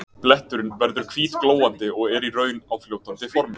Bletturinn verður hvítglóandi og er í raun á fljótandi formi.